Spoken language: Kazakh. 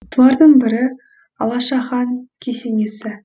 солардың бірі алаша хан кесенесі